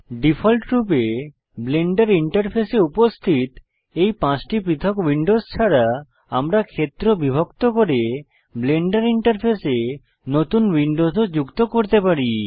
ডিফল্টরূপে ব্লেন্ডার ইন্টারফেসে উপস্থিত রয়েছে এই পাঁচটি পৃথক উইন্ডোজ ছাড়া আপনি ক্ষেত্র বিভক্ত করে ব্লেন্ডার ইন্টারফেসে নতুন উইন্ডোস ও যুক্ত করতে পারি